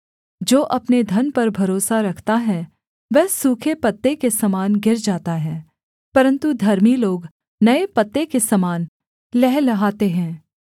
जो अपने धन पर भरोसा रखता है वह सूखे पत्ते के समान गिर जाता है परन्तु धर्मी लोग नये पत्ते के समान लहलहाते हैं